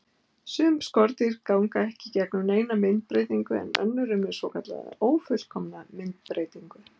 Sum skordýr ganga ekki í gegnum neina myndbreytingu en önnur eru með svokallaða ófullkomna myndbreytingu.